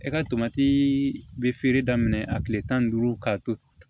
E ka tomati be feere daminɛ a kile tan ni duuru ka to